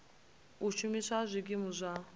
u shumiswa ha zwikimu zwa